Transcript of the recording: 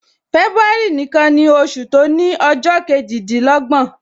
February nìkan ni oṣù to ni ọjọ kejidinlogbon